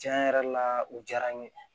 Tiɲɛ yɛrɛ la u diyara n ye